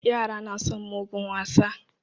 Yara na son mugun wasa.